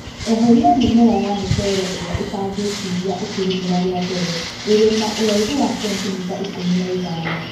Eheria mĩmera ya mũcere ĩrĩa ĩtangĩtiria ũkĩlĩmĩra rĩa mbele ĩrĩ na ũraihu wa sentimita ikũmi na ithano